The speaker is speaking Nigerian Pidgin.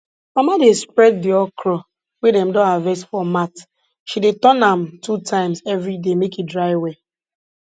mama dey spread di okro wey dem don harvest for mat she dey turn am two times every day make e dry well